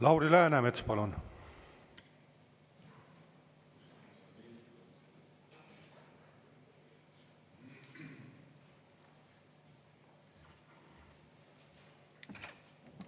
Lauri Läänemets, palun!